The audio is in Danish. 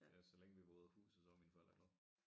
Ja så længe vi var ude af huset så var mine forældre glade